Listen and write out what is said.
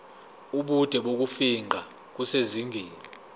ubude bokufingqa kusezingeni